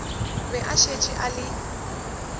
be a šetše a le